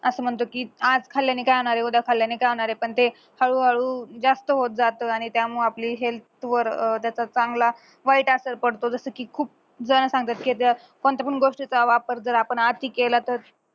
म्हणतो की आज खाल्याने काय होणारे उद्या खाल्याने काय होणारे पण ते हळूहळू जास्त होत जात त्यामूळ आपली health वर त्याचा चांगला वाईट पडतो जस की खूप जण सांगतात कोणत्या पण गोष्टीचा वापर जर आपण अति केला तर